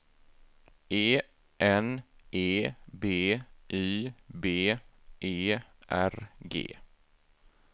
E N E B Y B E R G